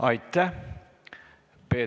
Aitäh!